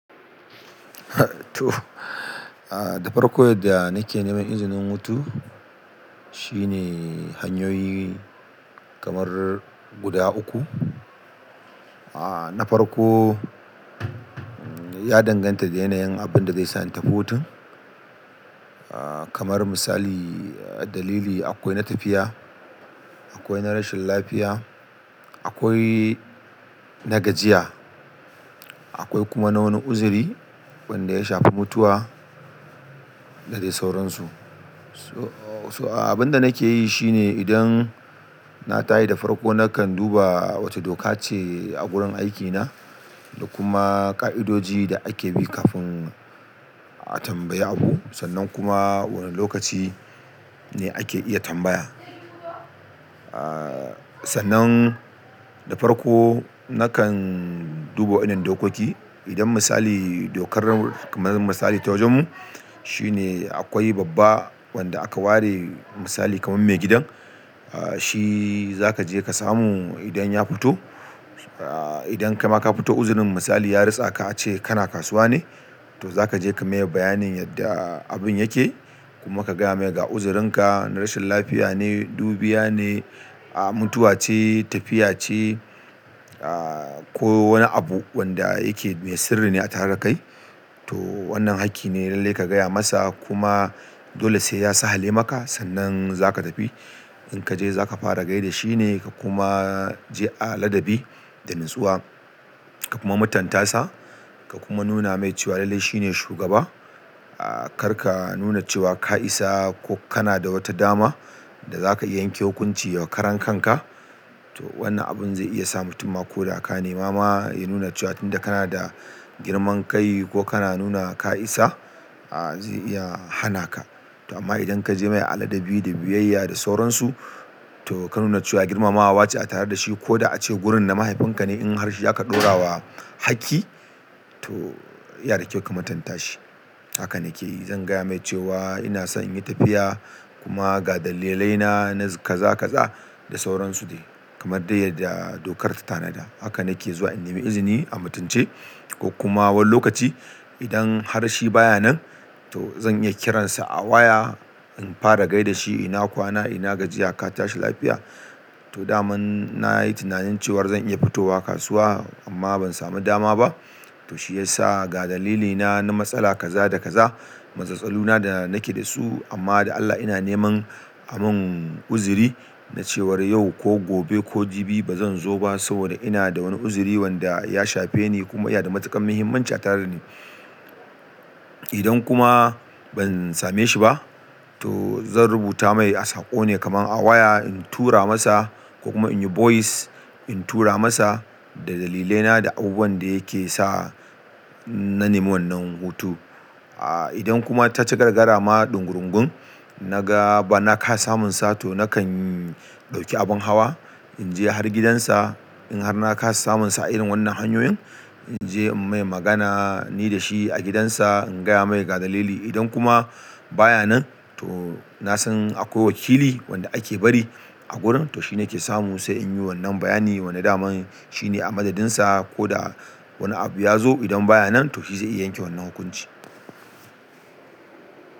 Da farko yadda nake neman izinin hutu, shine hanyoyi kamar guda uku. Na farko, ya danganta da yanayin abin da zai sa ni tafi hutun. Kamar misali, dalili akwai na tafiya, akwai na rashin lafiya, akwai na gajiya, akwai kuma wani uzuri wanda ya shafi mutuwa da dai sauransu. So abin da nake yi shine idan na taye da farko nakan duba wace doka ce a wurin aikina da kuma ƙa'idoji da ake bi kafin a tambayi abu sannan kuma wane lokaci ne ake iya tambaya. Sannan da farko nakan duba wannan dokoki. Idan misali dokar misali ta wajenmu shine akwai babba wanda aka ware misali kamar maigidan, shi za ka je ka samu idan ya fito. Idan kaima ka fito uzurin misali ya ritsaka ace kana kasuwa ne, to za ka je ka maye bayanin yadda abin yake kuma ka gaya mai ga uzurinka na rashin lafiya ne, dubiya ne, mutuwa ce, tafiya ce ko wani abu wanda yake mai sirri ne a tare da kai. To wannan hakki ne lallai ka gaya masa kuma dole sai ya sa hale maka sannan za ka tafi. In ka je za ka fara gai da shi ne ka kuma je a ladabi da natsuwa ka kuma matantasa ka kuma nuna mai cewa lallai shine shugaba. Kar ka nuna cewa ka isa ko kana da wata dama da za ka iya yanke hukunci wa karan kanka. To wannan abun zai iya sa mutum ma ko da aka nema ma ya nuna cewa tunda kana da girman kai ko kana nuna ka isa zai iya hana ka. To amma idan ka je mai a ladabi da biyayya da sauransu to ka nuna cewa girmamawa ce a tare da shi ko da ace gurin na mahaifinka ne in har shi aka ɗora wa hakki to ya na da kyau ka matanta shi. Haka nake yi. Zan gaya mai cewa ina so in yi tafiya kuma ga dalilaina na kaza kaza da sauransu de kamar dai yadda dokar ta tanada. Haka nake zuwa in nemi izini a mutunce ko kuma wani lokaci idan har shi baya nan to zan iya kiransa a waya in fara gai da shi ina kwana ina gajiya ka tashi lafiya. To dama na yi tunanin cewar zan iya fitowa kasuwa amma ban sami dama ba. To shi yasa ga dalilina na matsala kaza da kaza, matsaltsalu na da nake da su amma da Allah ina neman aman uzuri na cewar yau ko gobe ko jibi bazan zo ba saboda inada wani uzuri wanda ya shafeni kuma iya da matuƙar mahimmanci atare dani idan kuma ban same shi ba to zan rubuta mai a sako ne kamar a waya in tura masa ko kuma in yi voice in tura masa da dalilaina da abubuwan da yake sa na nemi wannan hutu. Idan kuma ta ci gargaara ma ɗungurungun na ga ba na ka samunsa to nakan dauki abun hawa, inje har gidan sa in har na kasa samun sa a irin wannan hanyoyin, in je in mai magana ni da shi agidan sa in gaya mai ga dalili i dan kuma baya nan to nasan a kwai wakili wanda ake bari agurin to shi nake samu se inyi wannan bayanin wanda daman shine a madadin sa koda wani abu ya zo idan baya nan to shi zai iya yanke wannan hukunci.